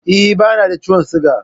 Eh, bani da ciwon siga